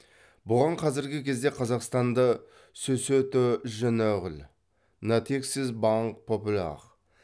бұған қазіргі кезде қазақстанда сөсьетэ жэнэғәл натексис баңк попүлэғ